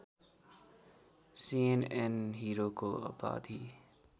CNN हिरोको उपाधि